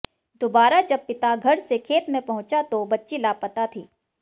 दुबारा जब पिता घर से खेत में पहुंचा तो बच्ची लापता थी